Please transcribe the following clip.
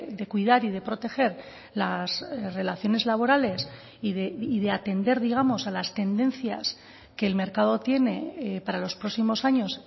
de cuidar y de proteger las relaciones laborales y de atender digamos a las tendencias que el mercado tiene para los próximos años